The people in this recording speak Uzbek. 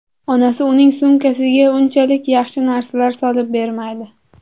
Onasi uning sumkasiga unchalik yaxshi narsalar solib bermaydi.